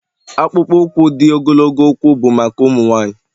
akpụkpọ ụkwụ di ogologo ụkwụ bụ maka ụmụ nwanyị